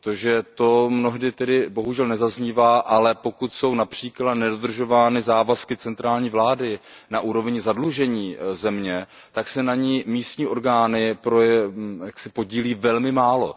Protože to mnohdy bohužel nezaznívá, ale pokud jsou například nedodržovány závazky centrální vlády na úrovni zadlužení země, tak se na ní místní orgány podílí velmi málo.